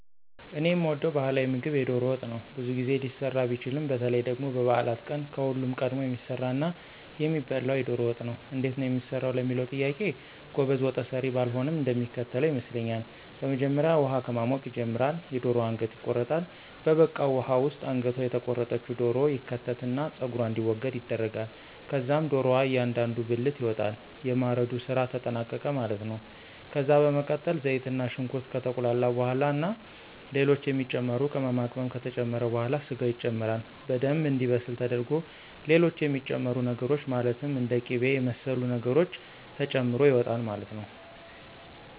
እኔ የምወደው ባህላዊ ምግብ የዶሮ ወጥ ነው። ብዙ ጊዜ ሊሰራ ቢችልም በተለይ ደግሞ በበዓላት ቀን ከሁሉም ቀድሞ የሚሰራና የሚበላው የዶሮ ወጥ ነው። እንዴት ነው የሚሰራው ለሚለው ጥያቄ ጎበዝ ወጠሰሪ ባልሆንም እንደሚከተለው ይመስለኛል። በመጀመሪያ ውሃ ከማሞቅ ይጀመራል፤ የደሮዋ አንገት ይቆረጣል፤ በበቃው ውሃ ውስጥ አንገቷ የተቆረጠች ዶሮ ይከተትና ፀጉሯ እንዲወገድ ይደረጋል። ከዛም ዶሮዋ እያንዳንዱ ብልት ይወጣል። የማረዱ ስራ ተጠናቀቀ ማለት ነው። ከዛ በመቀጠል ዘይትና ሽንኩርት ከተቁላላ በኋላ ና ሌሎች የሚጨመሩ ቅመማቅመም ከተጨመረ በኋላ ስጋው ይጨመራል። በደምብ እንዲበስል ተደርጎ ሌሎች የሚጨመሩ ነገሮች ማለትም እንደ ቂበ የመሰሉ ነገሮች ተጨምሮ ይወጣል ማለት ነው።